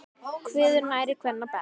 Kveður nærri kvenna best.